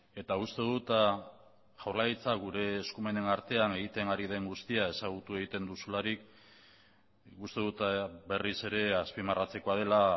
eta uste dut jaurlaritza gure eskumenen artean egiten ari den guztia ezagutu egiten duzularik uste dut berriz ere azpimarratzekoa dela